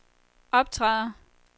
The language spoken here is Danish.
optræder